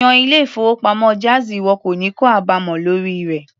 Yan ilé-ìfowópamọ́ jáàzì ìwọ kò ní kó àbámọ̀ lórí rẹ̀.